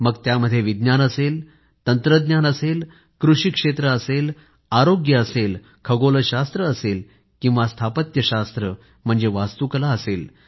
मग त्यामध्ये विज्ञान असेल किंवा तंत्रज्ञान कृषी क्षेत्र असेल किंवा आरोग्य खगोलशास्त्र असेल किंवा स्थापत्यशास्त्र म्हणजे वास्तूकला असेल